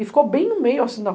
E ficou bem no meio assim da